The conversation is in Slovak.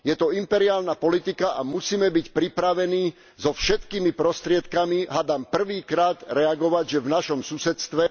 Je to imperiálna politika a musíme byť pripravení so všetkými prostriedkami, hádam prvý krát, reagovať, že v našom susedstve...